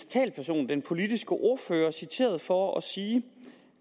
talsperson den politiske ordfører citeret for at sige